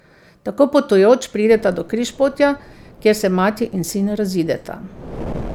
Tako potujoč prideta do križpotja, kjer se mati in sin razideta.